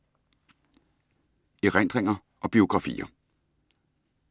Erindringer og biografier